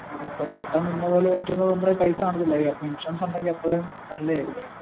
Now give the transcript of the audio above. അപ്പോ പെട്ടന് ഇന്ന പോലെ പറ്റുമ്പോ നമ്മുടെ കൈയിൽ പൈസ കനത്തിലായിരിക്കും അപ്പോ ഇൻഷുറൻസ് ഉണ്ടെങ്കിൽ അത്രേം നല്ലത് ആയിരിക്കും.